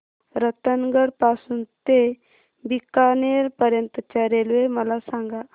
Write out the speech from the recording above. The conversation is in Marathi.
रतनगड पासून ते बीकानेर पर्यंत च्या रेल्वे मला सांगा